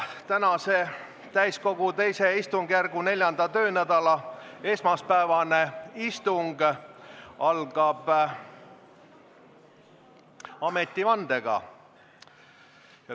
Tänase täiskogu II istungjärgu 4. töönädala esmaspäevane istung algab ametivandega.